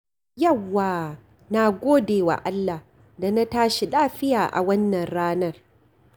Yawwa! Na gode wa Allah da na tashi lafiya a wannan ranar.